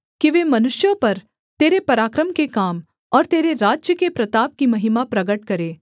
कि वे मनुष्यों पर तेरे पराक्रम के काम और तेरे राज्य के प्रताप की महिमा प्रगट करें